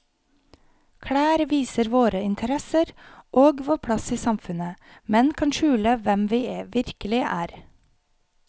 Klær viser våre interesser og vår plass i samfunnet, men kan skjule hvem vi virkelig er.